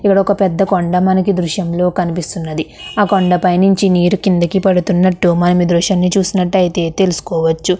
ఇక్కడొక పెద్ద కొండ మనకి దృశ్యంలో కనిపిస్తున్నది ఆ కొండపైనుంచి నీరు కిందకి పడుతున్నట్టు మనమీ దృశ్యంని చూసినట్టయితే తెలుసుకోవచ్చు.